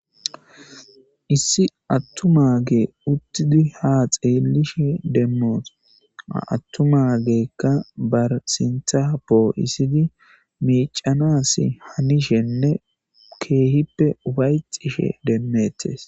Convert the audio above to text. Issi atumage utidi ha xelishe demos atumaguka ba sinta po'isidi mic'anasi hanishenne kehipe ufayxishe de'etes.